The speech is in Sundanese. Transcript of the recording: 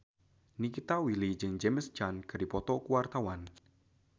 Nikita Willy jeung James Caan keur dipoto ku wartawan